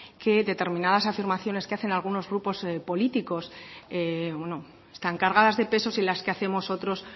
que determinadas afirmaciones que hacen algunos grupos políticos están cargadas de pesos y las que hacemos otros